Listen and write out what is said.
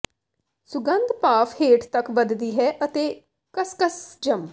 ਸੁਗੰਧ ਭਾਫ਼ ਹੇਠ ਤੱਕ ਵੱਧਦੀ ਹੈ ਅਤੇ ਕਸਕਸ ਜੰਮ